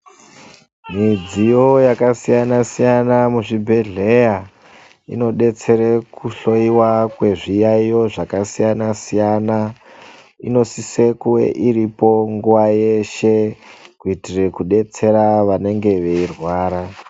Midziyo yakasiyana-siyana muzvibhedhleya inobetsere kuhloiwa kwezviyaiyo zvakasiyana-siyana, inosise kuvairipo nguva yeshe kuitire kudetsera vanenge veirwara.